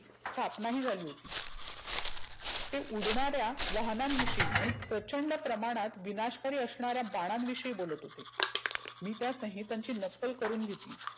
स्थापना ही झाली होती. ते उडणाऱ्या वाहनां विषयी प्रचंड प्रमाणात विनाषकारी असणाऱ्या बाणां विषयी बोलत होते. मी त्या संहितांची नक्कल करूण घेतली.